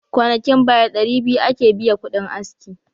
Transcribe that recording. Kwanakin baya dari 200 ake biyakudin aski.